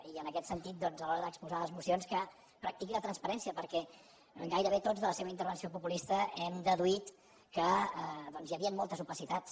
i en aquest sentit doncs a l’hora d’expo·sar les mocions que practiqui la transparència per·què gairebé tots de la seva intervenció populista hem deduït que doncs hi havien moltes opacitats